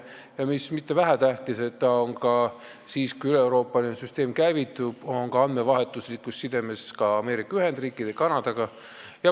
Ja vähetähtis pole see, et Eestil on siis, kui üleeuroopaline süsteem käivitub, andmevahetuslik side ka Ameerika Ühendriikide ja Kanadaga.